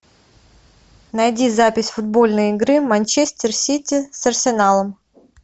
найди запись футбольной игры манчестер сити с арсеналом